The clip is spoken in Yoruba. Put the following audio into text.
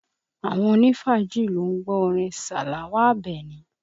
Àwọn onifaaji ló ń gbọ́ orin Salawa Abeni